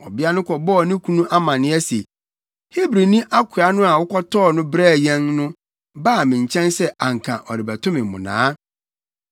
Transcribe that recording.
Ɔbea no bɔɔ ne kunu amanneɛ se, “Hebrini akoa no a wokɔtɔɔ no brɛɛ yɛn no baa me nkyɛn sɛ anka ɔrebɛto me mmonnaa.